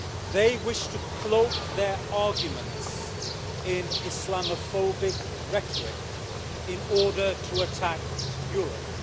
They wish to cloak their arguments in Islamophobic rhetoric in order to attack Europe.